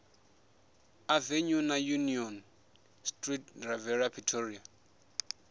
avenue na union street riviera pretoria